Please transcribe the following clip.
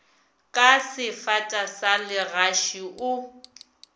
ka sefata sa legaši o